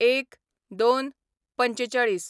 ०१/०२/४५